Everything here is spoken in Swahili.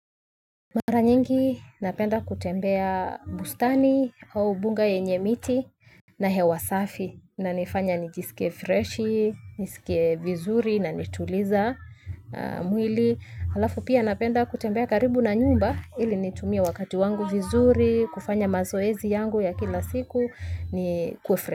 Mara nyingi napenda kutembea bustani au bunga yenye miti na hewasafi inanifanya nijisike fresh, nisike vizuri na nituliza mwili. Halafu pia napenda kutembea karibu na nyumba ili nitumia wakati wangu vizuri, kufanya mazoezi yangu ya kila siku ni kufresh.